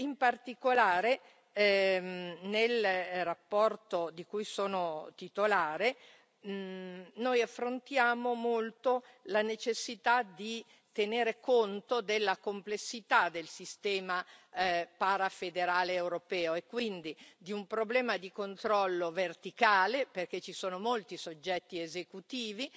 In particolare, nella relazione di cui sono titolare, noi affrontiamo molto la necessità di tenere conto della complessità del sistema parafederale europeo, e quindi di un problema di controllo verticale, perché ci sono molti soggetti esecutivi